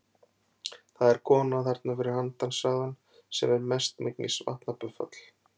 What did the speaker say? Það er kona þarna fyrir handan sagði hann, sem er mestmegnis vatnabuffall.